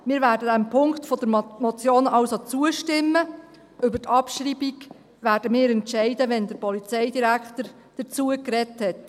Wir werden diesem Punkt der Motion also zustimmen, über die Abschreibung werden wir entscheiden, wenn der Polizeidirektor dazu gesprochen hat.